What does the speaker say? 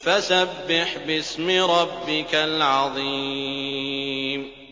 فَسَبِّحْ بِاسْمِ رَبِّكَ الْعَظِيمِ